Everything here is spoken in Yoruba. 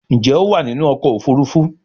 Njé o wá nínú ọkọ̀ òfurufú?